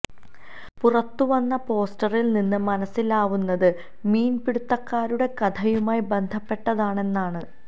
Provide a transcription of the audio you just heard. പുറത്ത് വന്ന പോസ്റ്ററില് നിന്നും മനസിലാവുന്നത് മീന് പിടുത്തക്കാരുടെ കഥയുമായി ബന്ധപ്പെട്ടതാണെന്നാണ്